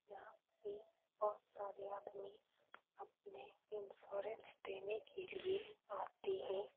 यहाँ पे बहुत सारे आदमी अपना इंश्योरेंस देने के लिए आते हैं।